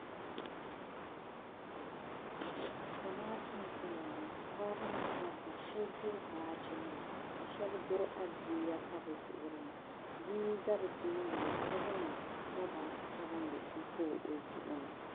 Zamaatu n zaya ŋɔ paɣaba ni dabba sheba ʒiri baaji nima sheba guri adiila pa bɛ zuɣuri ni bia n za bɛ tooni ŋɔ ka zaŋ loba sabinli m pa o zuɣu ni.